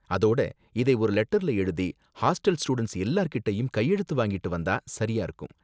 அதோட இதை ஒரு லெட்டர்ல எழுதி ஹாஸ்டல் ஸ்டூடண்ட்ஸ் எல்லார்கிட்டயும் கையெழுத்து வாங்கிட்டு வந்தா சரியா இருக்கும்.